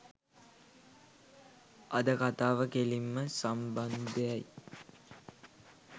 අද කථාව කෙලින්ම සම්භන්ධයි